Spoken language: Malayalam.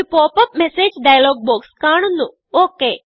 ഒരു pop അപ്പ് messageഡയലോഗ് ബോക്സ് കാണുന്നു ഒക്